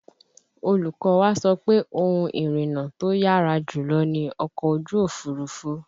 Olùkọ́ wa sọ pé ohun ìrìnnà tó yára jùlọ ni ọkọ̀ ojú Òfurufú